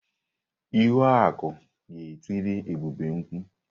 Ihuaku ga-etiri Ebube mkpụ.